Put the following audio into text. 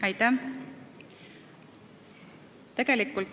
Aitäh!